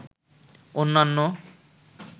অন্যান্য